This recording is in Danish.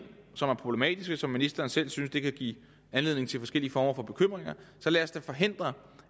som er problematiske og som ministeren selv synes kan give anledning til forskellige former for bekymringer så lad os da forhindre